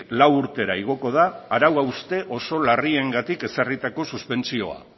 lau urtera igoko da arau hauste oso larriengatik ezarritako suspentsioa